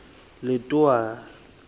letowana